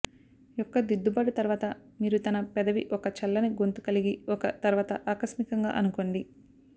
యొక్క దిద్దుబాటు తర్వాత మీరు తన పెదవి ఒక చల్లని గొంతు కలిగి ఒక తర్వాత ఆకస్మికంగా అనుకోండి